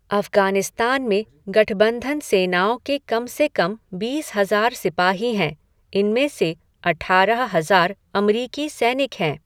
अफ़गानिस्तान में गठबंधन सेनाओं के कम से कम बीस हज़ार सिपाही हैं, इनमें से अठारह हज़ार अमरीकी सैनिक हैं।